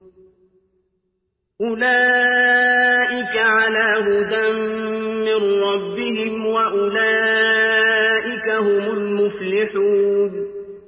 أُولَٰئِكَ عَلَىٰ هُدًى مِّن رَّبِّهِمْ ۖ وَأُولَٰئِكَ هُمُ الْمُفْلِحُونَ